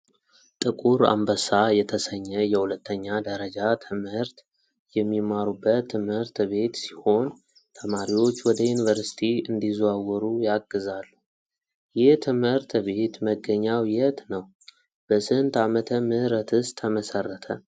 ጥቁር አንበሳ የተሰኘ የሁለተኛ ደረጃ ተማሪዎች የሚማሩበት ትምህርት ቤት ሲሆን ተማሪዎች ወደ ዩኒቨርስቲ እንዲዘዋወሩ የአግዛሉ። ይህ ትምህርተ ቤት መገኛው የት ነው በስንት ዓመተ ምህረትስ ተመሰረተ?